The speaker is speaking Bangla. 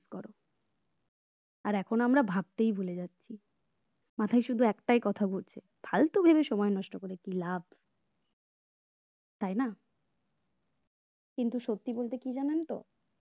আর এখন আমরা ভাবতেই ভুলে যাচ্ছি মাথায় শুধু একটাই কথা ঘুরছে ফালতু ভেবে সময় নষ্ট করে কি লাভ তাই না কিন্তু সত্যি বলতে কি জানেন তো?